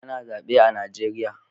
Ana zabe a Najeriya.